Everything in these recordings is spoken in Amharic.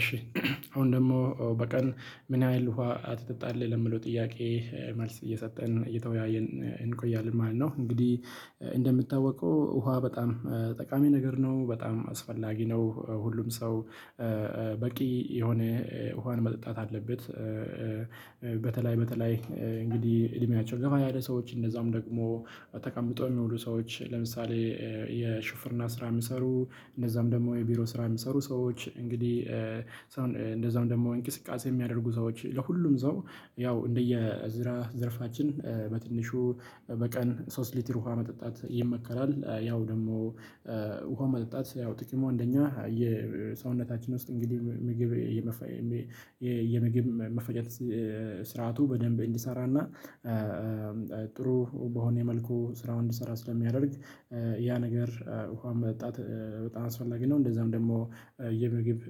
እሺ። አሁን ደግሞ በቀን ምን ያህል ውሃ ትጠጣለህ ለምለው? ጥያቄ መልስ እየሰጠን እየተወያየን እንቆያለን ማለት ነው። እንግዲህ እንደሚታወቀው ውሃ በጣም ጠቃሚ ነገር ነው በጣም አስፈላጊ ነው። ሁሉም ሰው በቂ የሆነ ውሃን መጠጣት አለበት። በተለይ በተለይ እንግዲህ እድሜያቸውን ገባ ያለ ሰዎች እንደዛም ደግሞ ተቀምጦ የሚውሉ ሰዎች ለምሳሌ የሹፍርና ስራ የሚሰሩ እንደዛም ደግሞ የቢሮ ስራ የሚሰሩ ሰዎች። እንግዲህ እንደዛውም ደግሞ እንቅስቃሴ የሚያደርጉ ሰዎች ለሁሉም ሰው ያው እንደየስራ ዘርፋችን በትንሹ በቀን ሶስት ሊትር ውሃ መጠጣት ይመከራል። ያው ደግሞ ውሃ መጠጣት ያው ጥቅሙ አንደኛ የሰውነታችን ውስጥ እንግዲህ ምግብ የምግብ መፈጨት ስርዓቱ በደንብ እንዲሰራና ጥሩ በሆነ መልኩ ስራውን እንዲሰራ ስለሚያደርግ ያ ነገር ውሃ መጠጣት በጣም አስፈላጊ ነው። እንደዛም ደግሞ የምግብ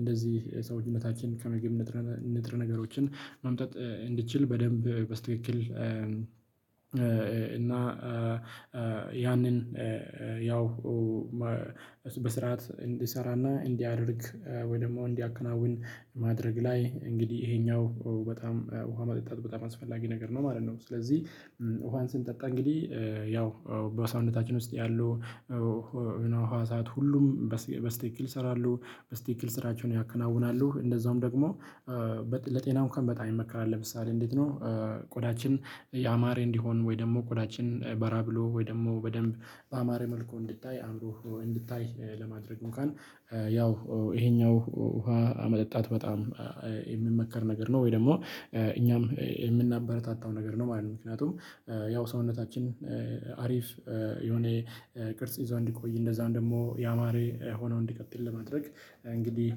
እንደዚህ ሰውዬነታችን ከምግብ ንጥረ ንጥረ ነገሮችን ማምጠጥ እንድትችል በደንብ በስትክክል እና ያንን ያው በስርዓት እንዲሰራና እንዲያደርግ ወይ ደግሞ እንዲያከናውን ማድረግ ላይ እንግዲህ ይሄኛው በጣም ውሃ መጠጣት በጣም አስፈላጊ ነገር ነው ማለት ነው። ስለዚህ ውሃን ስንጠጣ እንግዲህ ያው በሰውነታችን ውስጥ ያሉ ህዋሳት ሁሉም በስትክክል ይሰራሉ በስትክክል ስራቸውን ያከናውናሉ እንደዛውም ደግሞ ለጤናው እንኳን በጣም ይመከራል ለምሳሌ እንዴት ነው? ያማረ እንዲሆን ወይ ደግሞ ቆዳችን በራ ብሎ ወይ ደግሞ በደንብ በአማረ መልኩ እንድታይ አምሮ እንድታይ ለማድረግ ያው ይሄኛው ውሃ መጠጣት በጣም የሚመከር ነገር ነው። ወይ ደግሞ እኛም የምናበረታታው ነገር ነው ማለት ነው። ምክንያቱም ያው ሰውነታችን አሪፍ የሆነ ቅርጽ ይዞ እንዲቆይ እንደዛውም ደግሞ ያማረ ሆኖ እንዲቀጥል ለማድረግ እንግዲህ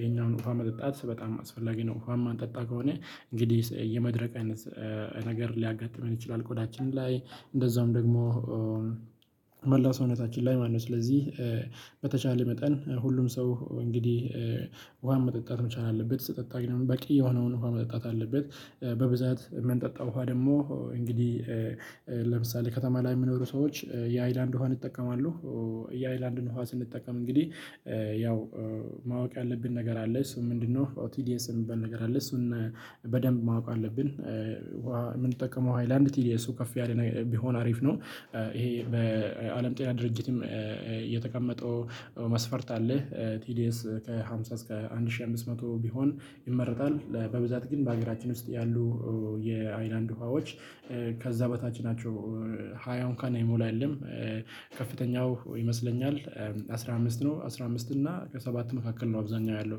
ይሄኛውን ውሃ መጠጣት በጣም አስፈላጊ ነው። ውሃ ማንጠጣ ከሆነ እንግዲህ የመድረቅ አይነት ነገር ሊያጋጥመን ይችላል። ቆዳችን ላይ እንደዛውም ደግሞ መላው ሰውነታችን ላይ ማነው ስለዚህ በተቻለ መጠን ሁሉም ሰው እንግዲህ ውሃ መጠጣት መቻል አለበት። ስጠጣ ግን በቂ የሆነውን ውሃ መጠጣት አለበት። በብዛት የምንጠጣው ውሃ ደግሞ እንግዲህ ለምሳሌ ከተማ ላይ የሚኖሩ ሰዎች የሀይላንድ ውሃን ይጠቀማሉ። የሀይላንድን ውሃ ስንጠቀም እንግዲህ ያው ማወቅ ያለብን ነገር አለ እሱ ምንድነው? ኦውቲዲኤስ የሚባል ነገር አለ እሱን በደንብ ማወቅ አለብን። ምንጠቀመው ሃይላንድ ቲዲየሱ ከፍ ያለ ቢሆን አሪፍ ነው። ይሄ በአለም ጤና ድርጅትም የተቀመጠው መስፈርት አለ ቲዲኤስ ከሃምሳ እስከ አንድ ሺህ አምስት መቶ ቢሆን ይመረጣል። በብዛት ግን በሀገራችን ውስጥ ያሉ የሀይላንድ ውሃዎች ከዛ በታች ናቸው። ሀያውን እንኳን ሚሞላ የለም። ከፍተኛው ይመስለኛል አስራ አምስት ነው አስራ አምስት እና ከሰባት መካከል ነው አብዛኛው ያለው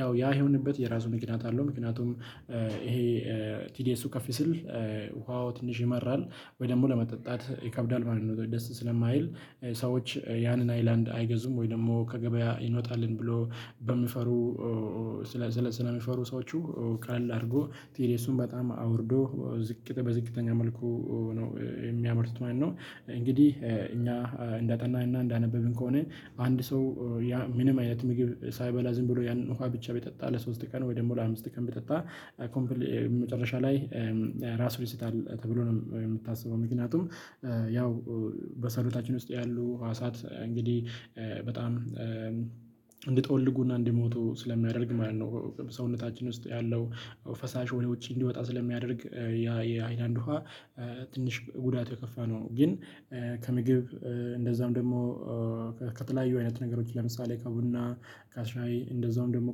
ያው ያ የሆነበት የራሱ ምክንያት አለው። ምክንያቱም ይሄ ቲዲኤሱ ከፍ ሲል ውሃው ትንሽ ይመራል ወይ ደግሞ ለመጠጣት ይከብዳል ማለት ነው። ደስ ስለማይል ሰዎች ያንን ሀይላንድ አይገዙም ወይ ደግሞ ከገበያ ይመጣልን ብሎ በሚፈሩ ስለ ስለሚፈሩ ሰዎች ቀለል አድርጎ ቴዲኤሱን በጣም አውርዶ በዝቅተኛ መልኩ ነው የሚያመርቱት ማለት ነው። እንግዲህ እኛ እንዳጠናንና እንዳነበብን ከሆነ አንድ ሰው ምንም አይነት ምግብ ሳይበላ ዝም ብሎ ያንን ውሃ ብቻ ቢጠጣ ለሶስት ከነ ወይ ደግሞ ለአምስት ቀን ቢጠጣ። መጨረሻ ላይ ራሱን ይስታል ተብሎ ነው የሚታሰበው ምክንያቱም ያው በሰውነታችን ውስጥ ያሉ ህዋሳት እንግዲህ በጣም እንዲጠወልጉና እንዲሞቱ ስለሚያደርግ ማለት ነው። ሰውነታችን ውስጥ ያለው ፈሳሽ ወደ ውጪ እንዲወጣ ስለሚያደርግ የሀይላንድ ውሃ ትንሽ ጉዳት የከፋ ነው። ግን ከምግብ እንደዛም ደግሞ ከተለያዩ አይነት ነገሮች ለምሳሌ ከቡና ከሻይ እንደዛውም ደግሞ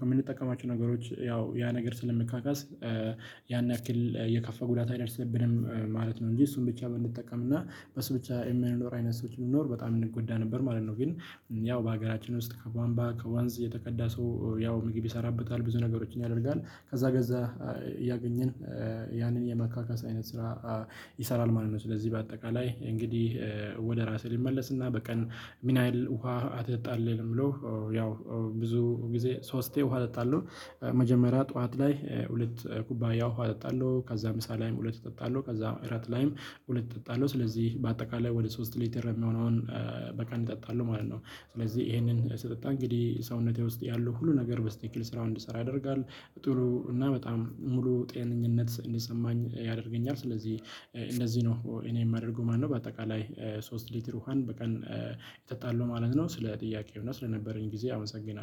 ከምንጠቀማቸው ነገሮች ያው ያ ነገር ስለሚካካስ ያን ያክል የከፋ ጉዳት አይደርስብንም ማለት ነው። እንጂ እሱን ብቻ ብንጠቀም እና በሱ ብቻ የምንኖር አይነት ሰዎች ብንኖር በጣም እንጎዳ ነበር ማለት ነው። ግን ያው በሀገራችን ውስጥ ከቧንቧ ከወንዝ የተቀዳ ሰው ያው ምግብ ይሰራበታል ብዙ ነገሮችን ያደርጋል ከዛ ገዛ እያገኘን ያንን የማካከስ አይነት ስራ ይሰራል ማለት ነው። ስለዚህ በአጠቃላይ እንግዲህ ወደ ራሴ ሊመለስና በቀን ምንያህል ውሃ ትጠጣለህ? ብሎ ያው ብዙ ጊዜ ሶስቴ ውሃ እጠጣለሁ። መጀመሪያ ጠዋት ላይ ሁለት ኩባያው ውሃ እጠጣለሁ ከዛ ምሳ ላይም ሁለት እጠጣለሁ ከዛ እራት ላይም ሁለት እጠጣለሁ ስለዚህ በአጠቃላይ ወደ ሶስት ሊትር የሚሆነውን በቀን እጠጣለሁ ማለት ነው። ስለዚህ ይሄንን ስጠጣ እንግዲህ ሰውነቴ ውስጥ ያለው ሁሉ ነገር በስትክክል ስራውን እንዲሰራ ያደርጋል። ጥሩ እና በጣም ሙሉ ጤንኝነት እንዲሰማኝ ያደርገኛል። ስለዚህ እንደዚህ ነው እኔ የማደርገው ማለት ነው። በአጠቃላይ ሶስት ሊትር ውሃን በቀን የተጣለው ማለት ነው። ስለ ጥያቄው እና ስለነበረኝ ጊዜ አመሰግናለሁ